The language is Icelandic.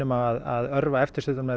að örva eftirspurnina